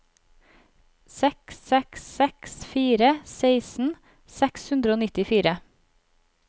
seks seks seks fire seksten seks hundre og nittifire